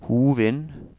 Hovin